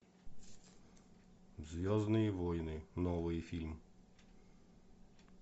звездные войны новый фильм